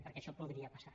perquè això podria passar